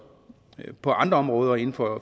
på andre områder inden for